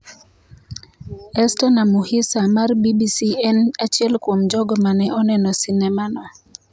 Esther Namuhisa mar BBC en achiel kuom jogo mane oneno sinema no.